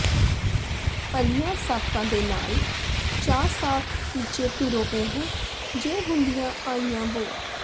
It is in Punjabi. ਭਲਿਆਂ ਸਾਕਾਂ ਦੇ ਨਾਲ ਚਾ ਸਾਕ ਕੀਚੇ ਧੁਰੋਂ ਇਹ ਜੇ ਹੁੰਦੀਆਂ ਆਈਆਂ ਵੋ